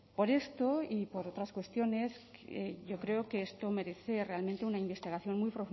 por esto y por otras cuestiones yo creo que esto merece realmente una investigación muy